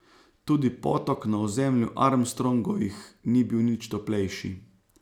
Tudi potok na ozemlju Armstrongovih ni bil nič toplejši.